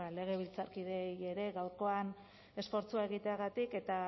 legebiltzarkideei ere gaurkoan esfortzua egiteagatik eta